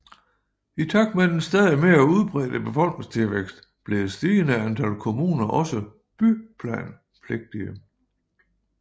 I takt med den stadig mere udbredte befolkningsvækst blev et stigende antal kommuner også byplanpligtige